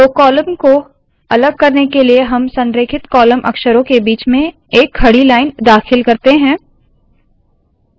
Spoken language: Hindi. दो कॉलम को अलग करने के लिए हम संरेखित कॉलम अक्षरों के बीच में एक खड़ी लाइन दाखिल करते है